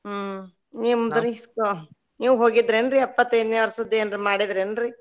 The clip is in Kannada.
ಹ್ಮ್ ನಿಮ್ದ್ರೀ ನೀವ್ ಹೋಗಿದ್ದೇನ್ರಿ ಎಪ್ಪತ್ತೈದನೇ ವರ್ಷದ್ದು ಏನ್ರಿ ಮಾಡಿದ್ರಿ ಏನ್ರೀ?